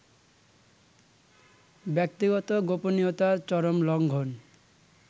ব্যক্তিগত গোপনীয়তার চরম লংঘন